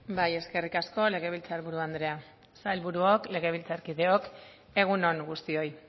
bai eskerrik asko legebiltzarburu andrea sailburuok legebiltzarkideok egun on guztioi